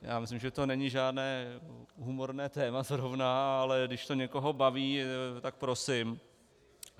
Já myslím, že to není žádné humorné téma zrovna, ale když to někoho baví, tak prosím.